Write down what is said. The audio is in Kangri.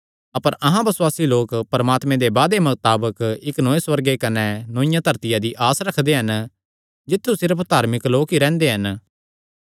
अपर अहां बसुआसी लोक परमात्मे दे वादे मताबक इक्क नौये सुअर्गे कने नौईआ धरतिया दी आस रखदे हन जित्थु सिर्फ धार्मिक लोक ई रैंह्दे हन